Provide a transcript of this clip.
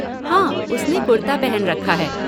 हाँ, उसने कुर्ता पहन रखा है।